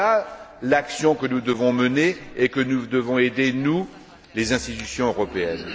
Voilà l'action que nous devons mener et dans laquelle nous devons aider les institutions européennes.